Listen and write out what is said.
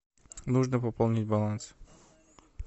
нужно пополнить баланс